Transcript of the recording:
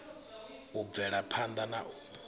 u bvela phanḓa na u